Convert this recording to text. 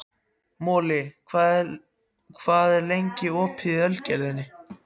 Moli, hvað er lengi opið í Ölgerðinni?